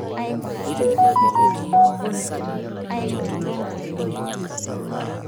Ore enkitalala keidim ataa keme.